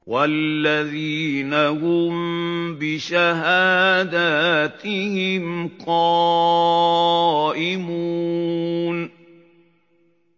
وَالَّذِينَ هُم بِشَهَادَاتِهِمْ قَائِمُونَ